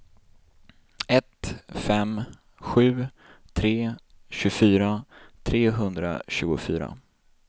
ett fem sju tre tjugofyra trehundratjugofyra